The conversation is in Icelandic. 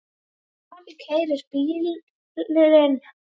Afi keyrir bílinn.